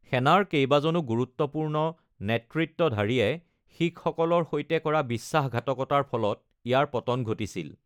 সেনাৰ কেইবাজনো গুৰুত্বপূৰ্ণ নেতৃত্বধাৰীয়ে শিখসকলৰ সৈতে কৰা বিশ্বাসঘাতকতাৰ ফলত ইয়াৰ পতন ঘটিছিল।